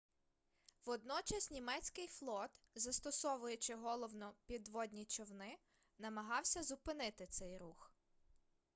водночас німецький флот застосовуючи головно підводні човни намагався зупинити цей рух